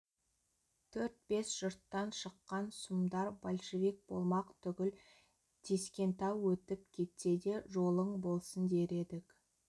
төрт-бес жұрттан шыққан сұмдар большевик болмақ түгіл тескентау өтіп кетсе де жолың болсын дер едік